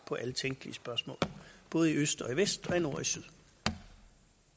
på alle tænkelige spørgsmål både i øst og vest